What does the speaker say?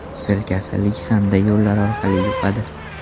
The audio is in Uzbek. Sil kasalligi qanday yo‘llar orqali yuqadi?